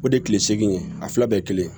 O de ye kile seegin ye a fila bɛɛ ye kelen ye